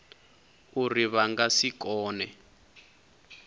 uri vha nga si kone